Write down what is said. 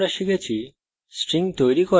in tutorial আমরা শিখেছি